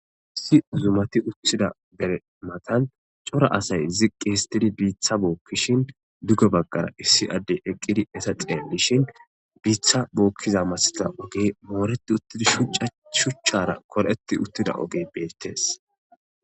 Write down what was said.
Issi uzumati utthida bere matan cora asay ziqqi histidi biitha bookkishin duge baggara issi addey eqqidi esa xeellishin biitha bookkiza masta ogey mooreti uttidi shucca shuchchara koreti uttida oge beettees